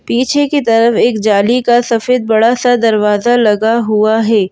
पीछे की तरफ एक जाली का सफेद बड़ा सा दरवाजा लगा हुआ है।